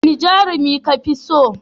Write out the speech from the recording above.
Wane jarumi ka fi so?